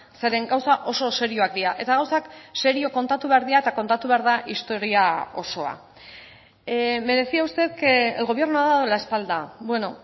zeren gauza oso serioak dira eta gauzak serio kontatu behar dira eta kontatu behar da historia osoa me decía usted que el gobierno ha dado la espalda bueno